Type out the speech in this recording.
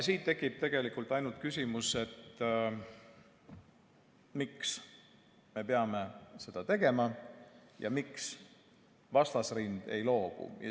Siit tekib ainult küsimus, miks me peame seda tegema ja miks vastasrind ei loobu.